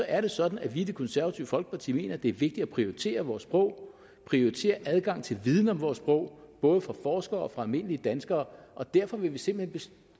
er det sådan at vi i det konservative folkeparti mener det er vigtigt at prioritere vores sprog prioritere adgang til viden om vores sprog både for forskere og almindelige danskere og derfor vil vi simpelt